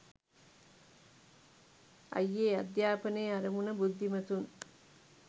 අයියේ අධ්‍යාපනයේ අරමුණ බුද්ධිමතුන්